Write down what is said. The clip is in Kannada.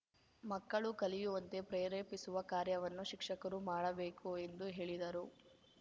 ಮಕ್ಕಳು ಕಲಿಯುವಂತೆ ಪ್ರೇರೇಪಿಸುವ ಕಾರ್ಯವನ್ನು ಶಿಕ್ಷಕರು ಮಾಡಬೇಕು ಎಂದು ಹೇಳಿದರು